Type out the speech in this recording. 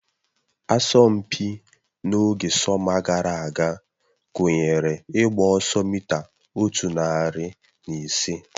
Asọmpi n'oge sọma gara aga gụnyere ịgba ọsọ mita otu narị na ise